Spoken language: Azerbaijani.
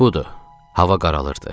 Budur, hava qaralırdı.